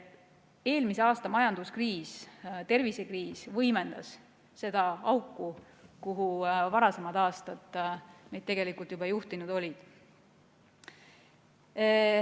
Eelmise aasta majandus- ja tervisekriis võimendas seda auku, kuhu varasemad aastad meid tegelikult juba juhtinud olid.